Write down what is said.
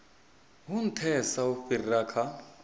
hu nthesa u fhira kha